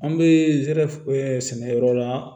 An bɛ zɛrɛ ɛɛ sɛnɛyɔrɔ la